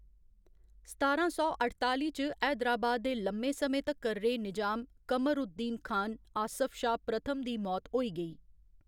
सतारां सौ अठताली च, हैदराबाद दे लम्मे समें तक्कर रेह् निजाम, कमर उद दीन खान, आसफ जाह् प्रथम दी मौत होई गेई।